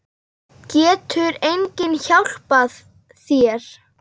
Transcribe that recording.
Getur enginn hjálpað þér?